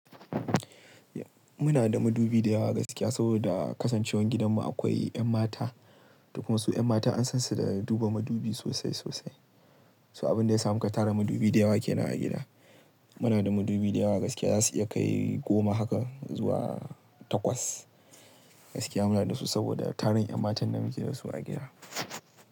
Muna da madubi dayawa gaskiya saboda kasancewan gidanmu akwai 'yan mata. Kuma su 'yan mata an san su da duba madubi sosai sosai. So abin da ya sa muka tara madubi dayawa ke nan a gida. Muna da madubi dayawa gaskiya za su iya kai goma haka zuwa takwas gaskiya muna da su saboda tarin 'yan matan da muke dasu a gida.